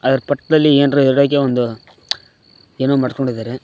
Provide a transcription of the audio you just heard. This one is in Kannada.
ಅದರ ಪಕ್ಕದಲ್ಲಿ ಏನರೆ ಇಡಕ್ಕೆ ಒಂದು ಏನೋ ಮಾಡಿಕೊಂಡಿದ್ದಾರೆ.